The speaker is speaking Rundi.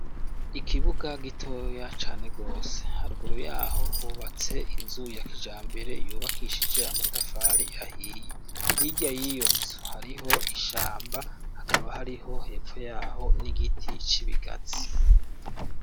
Ikibuga gitoya cane gose. Haruguru yaho hubatse inzu ya kijambere yubakishije amatafari ahiye. Hirya y'iyo nzu hariho ishamba ,hakaba hariho hepfo yaho n'igiti c'ibigazi.